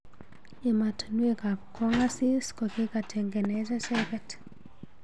Emotunwek ab kong asis kokitangeenech echeket.